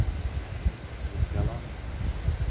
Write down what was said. Nikkala